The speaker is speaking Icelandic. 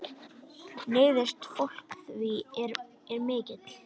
Neyð fólks er því mikil.